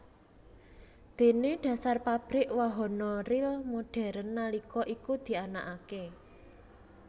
Déné dhasar pabrik wahana ril modern nalika iku dianakaké